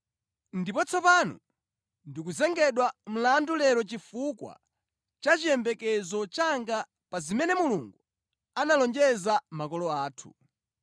Ndipo tsopano ndikuyimbidwa mlandu lero chifukwa cha chiyembekezo changa pa zimene Mulungu analonjeza makolo athu.